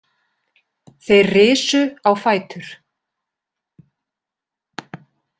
Þeir risu á fætur.